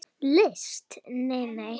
Nei, nei!